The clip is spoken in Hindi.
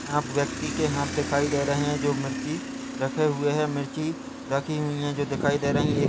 यहाँ पे व्यक्ति के हाथ दिखाई दे रहे है जो मिर्ची रखे हुए है मिर्ची रखी हुई है जो दिखाई दे रही है एक--